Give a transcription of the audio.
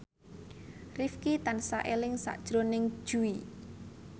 Rifqi tansah eling sakjroning Jui